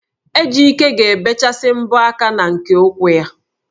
Ejike ga-ebechasị mbọ aka na nke ụkwụ ya